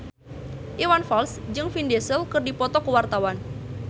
Iwan Fals jeung Vin Diesel keur dipoto ku wartawan